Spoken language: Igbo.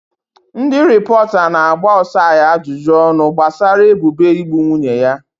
Ndị rịpọta na-agba Osai ajụjụ ọnụ gbasara ebubo igbu nwunye ya.